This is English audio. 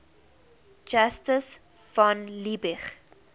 justus von liebig